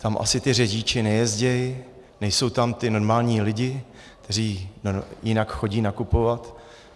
Tam asi ti řidiči nejezdí, nejsou tam ti normální lidé, kteří jinak chodí nakupovat!